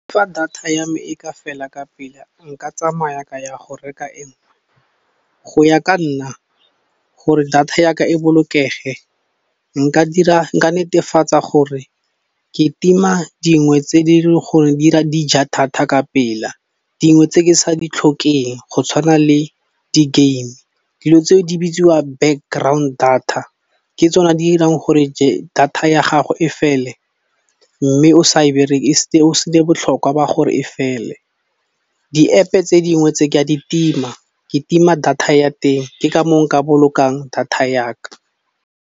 Fa data ya me e ka fela ka pela nka tsamaya ka ya go reka e nngwe go ya ka nna gore data yaka e bolokege nka dira, nka netefatsa gore ke tima dingwe tse di le gore dira dija data ka pela, dingwe tse ke sa di tlhokeng go tshwana le di game dilo tseo di bitsiwa backgrond data ke tsona di irang gore data ya gago e fele mme o sa e berekise botlhokwa ba gore e fele. Di App-e tse dingwe tse ke a ditima, ke tima data ya teng ke ka moo nka bolokang data yaka.